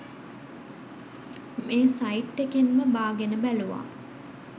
මේ සයිට් එකෙන්ම බාගෙන බැලුවා.